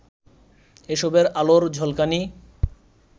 এসবের আলোর ঝলকানি